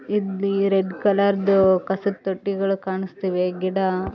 ಇಲ್ಲಿ ರೆಡ್ ಕಲರದು ಕಸದ ತೊಟ್ಟಿಗಳು ಕಾಣಿಸ್ತಿವೆ ಗಿಡ--